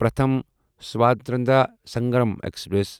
Pratham Swatantrata Sangram express